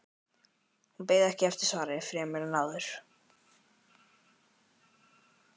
Hún beið ekki eftir svari fremur en áður.